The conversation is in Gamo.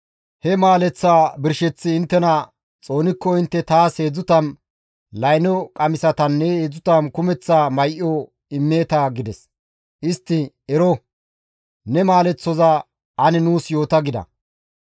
He maaleththaa birsheththi inttena xoonikko intte taas 30 layno qamisatanne 30 kumeththa may7o immeeta» gides. Istti, «Ero, ne maaleththoza ane nuus yoota» gida.